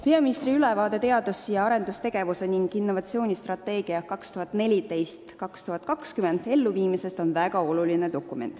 Peaministri ülevaade teadus- ja arendustegevuse olukorrast ning innovatsioonistrateegia 2014–2020 elluviimisest on väga oluline.